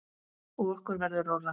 Og okkur verður rórra.